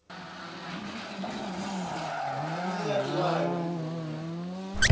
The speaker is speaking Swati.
umnikati wayo ligunya